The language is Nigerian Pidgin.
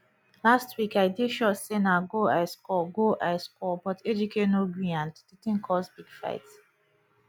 last week i dey sure say na goal i score goal i score but ejike no greeand the thing cause big fight